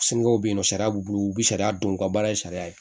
Sinikɛnɛ bɛ yen nɔ sariya b'u bolo u bɛ sariya dɔn u ka baara ye sariya ye